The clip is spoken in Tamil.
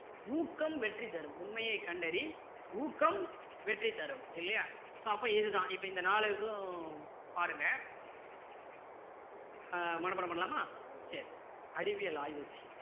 ஊக்கம் வெற்றி தரும் உண்மையை கண்டறி ஊக்கம் வெற்றி தரும் இல்லையா so அப்போ இது தான் இப்போ இந்த நாலுக்கும் பாருங்க ஆஹ் மனப்பாடம் பண்ணலாமா சரி அறிவியல் ஆய்வு செய்.